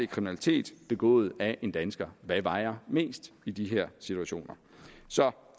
kriminalitet begået af en dansker hvad vejer mest i de her situationer så